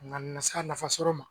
Nga nana se a nafa sɔrɔ ma